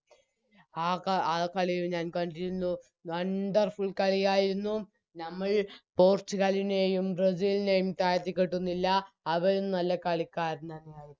ആക ആകളിയും ഞാൻ കണ്ടിരുന്നു Wonderfull കളിയായിരുന്നു നമ്മൾ പോർച്ചുഗലിനെയും ബ്രസീലിനെയും താഴ്ത്തിക്കെട്ടുന്നില്ല അവരും നല്ല കളിക്കാരൻ തന്നെയായിരുന്നു